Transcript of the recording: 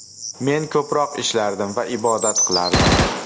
Men ko‘proq ishlardim va ibodat qilardim.